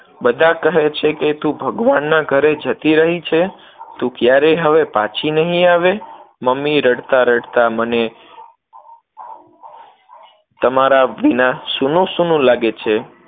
બધા કહે છે કે તું ભગવાનના ઘરે જતી રહી છે, તું ક્યારેય હવે પછી નહિ આવે, મમ્મી રડતા-રડતા મને તમારા વિના સૂનું-સૂનું લાગે છે.